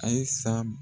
Ayisa